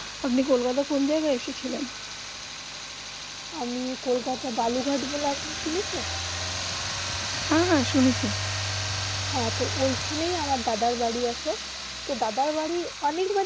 আপনি কলকাতা কোন জায়গা আইসে ছিলেন আমি কলকাতা বালু ঘাট বলে আপনি শুনেছেন হেঁ হেঁ শুনেছি হেঁ তো এখানে আমার দাদার বাড়ি আছে তো দাদার বাড়ি অনেক বার